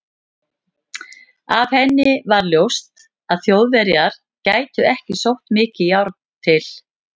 Af henni var ljóst, að Þjóðverjar gætu ekki sótt mikið járn til